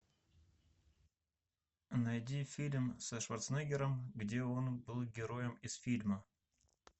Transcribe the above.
найди фильм со шварценеггером где он был героем из фильма